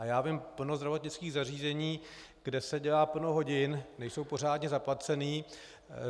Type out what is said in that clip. A já znám plno zdravotnických zařízení, kde se dělá plno hodin, nejsou pořádně zaplaceni.